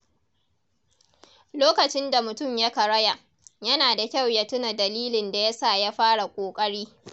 Lokacin da mutum ya karaya, yana da kyau ya tuna dalilin da ya sa ya fara ƙoƙari.